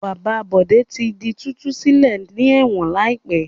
Bàbá Bọ̀dé tí di títú sílẹ̀ ní ẹ̀wọ̀n láìpẹ́.